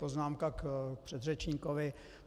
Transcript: Poznámka k předřečníkovi.